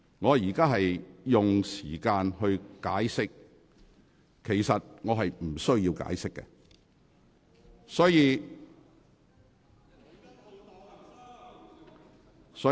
我正在作出解釋，其實我是無須解釋的。